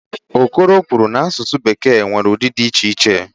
Okoro kwuru n'asụsụ Bekee nwere ụdị dị iche iche.